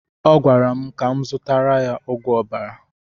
Ọ gwara m ka m zụtara ya ogwu ọbara